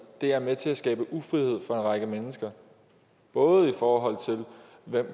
er med til at skabe ufrihed for en række mennesker både i forhold til hvem